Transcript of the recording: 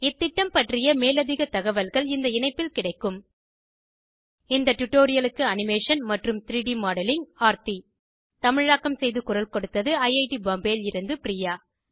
இந்த திட்டம் பற்றிய மேலதிக தகவல்கள் இந்த இணைப்பில் கிடைக்கும் இந்த டுடோரியலுக்கு அனிமேஷன் மற்றும் 3ட் மாடலிங் ஆர்த்தி தமிழாக்கம் செய்து குரல் கொடுத்தது ஐஐடி பாம்பேவில் இருந்து பிரியா